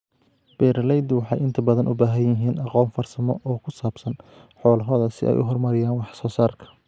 Beeralaydu waxay inta badan u baahan yihiin aqoon farsamo oo ku saabsan xoolahooda si ay u horumariyaan wax soo saarka.